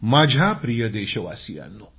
माझ्या प्रिय देशवासियांनो